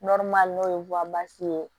n'o ye ye